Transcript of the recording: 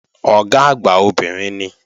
Ọ̀gá àgbà obìnrin ni